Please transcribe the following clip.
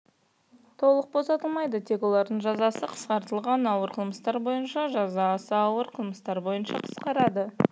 толық босатылмайды тек олардың жазасы қысқартылады ауыр қылмыстар бойынша жаза аса ауыр қылмыстар бойынша қысқарады